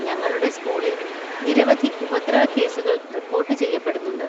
ഞങ്ങളുടെ സ്‌കൂളിൽ നിരവധി ഉപദ്രവക്കേസുകൾ റിപ്പോർട്ട് ചെയ്യപ്പെടുന്നുണ്ട്.